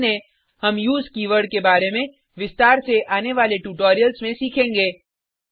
ध्यान दें हम उसे कीवर्ड के बारे में विस्तार से आने वाले ट्यूटोरियल्स में सीखेंगे